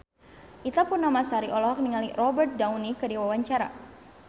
Ita Purnamasari olohok ningali Robert Downey keur diwawancara